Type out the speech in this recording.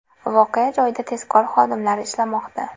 Voqea joyida tezkor xodimlar ishlamoqda.